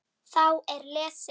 Þá er lesið